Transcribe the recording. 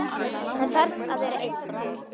Hann þarf að vera einn.